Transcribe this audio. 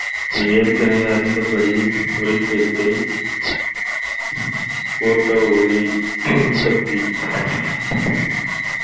இங்கே ஏற்கனவே அறிந்தபடி ஒளிச்சேர்க்கை photo ஒளி உற்பத்தி